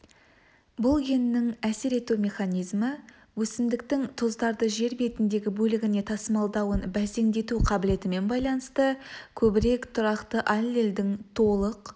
бұл геннің әсер ету механизмі өсімдіктің тұздарды жер бетіндегі бөлігіне тасымалдауын бәсеңдету қабілетімен байланысты көбірек тұрақты аллельдің толық